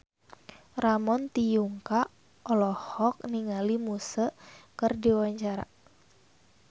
Ramon T. Yungka olohok ningali Muse keur diwawancara